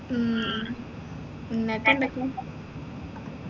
ഉം ഇന്നത്തെ എന്തൊക്കെയാ